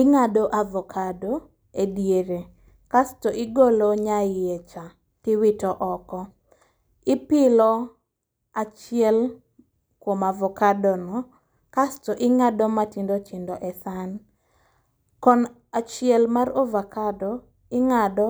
Ing'ado avokado e diere, kasto igolo nya iye cha tiwito oko. Ipilo achiel kuom avokado no, kasto ing'ado matindo tindo e san. Kon achiel mar ovakado ing'ado